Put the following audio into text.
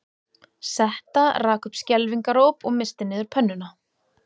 Setta rak upp skelfingaróp og missti niður pönnuna